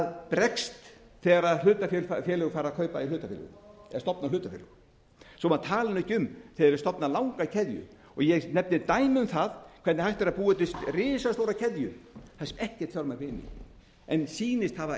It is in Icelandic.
bregst þegar hlutafélög fara að kaupa í hlutafélögum eða stofna hlutafélög svo maður tali ekki um þegar þau stofna langa keðju og ég nefni dæmi um það hvernig hægt er að búa til risastóra keðju það er ekkert fjármagn inni en sýnir það að eigið